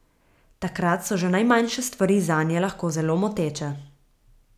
Takrat so že najmanjše stvari zanje lahko zelo moteče.